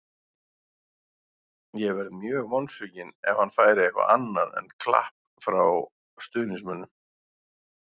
Ég verð mjög vonsvikinn ef hann fær eitthvað annað en klapp frá stuðningsmönnum.